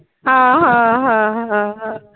हा हा हा हा